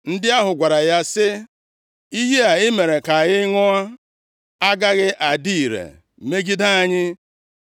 Ndị ahụ gwara ya sị, “Iyi a i mere ka anyị ṅụọ agaghị adị ire megide anyị,